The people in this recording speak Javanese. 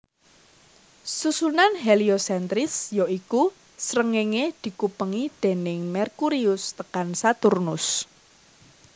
Susunan heliosentris ya iku Srengéngé dikupengi déning Merkurius tekan Saturnus